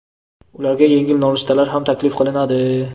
ularga yengil nonushtalar ham taklif qilinadi.